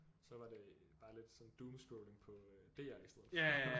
Så var det bare lidt sådan doom scrolling på øh DR i stedet for